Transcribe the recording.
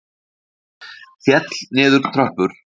Féll niður tröppur